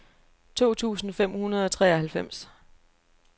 to tusind fem hundrede og treoghalvfems